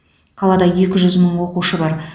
қалада екі жүз мың оқушы бар